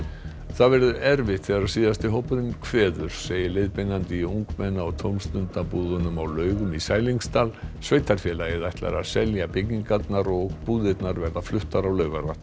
það verður erfitt þegar síðasti hópurinn kveður segir leiðbeinandi í ungmenna og tómstundabúðunum á Laugum í Sælingsdal sveitarfélagið ætlar að selja byggingarnar og búðirnar verða fluttar á Laugarvatn